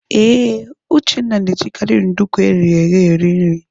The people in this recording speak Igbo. Ee, Uchenna na-ejikarị nduku eghere eghe eri nri.